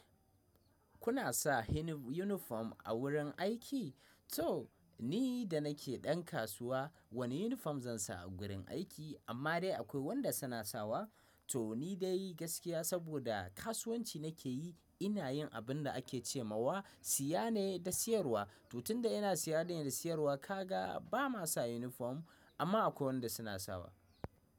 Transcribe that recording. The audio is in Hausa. Kuna sa yunifom a wurin aiki? To ni da nake ɗan kasuwa wani unifom zan sa a gurin aiki amma dai akwai wanda suna sawa. To ni dai gaskiya saboda kasuwanci nake yi ina yin abin da ake ce ma siya ne da siyarwa. To tunda ina siya ne da siyarwa kaga ba ma sa unifom amma akwai wanda suna sawa.